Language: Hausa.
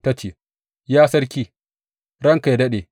Ta ce, Ya sarki, ranka yă daɗe!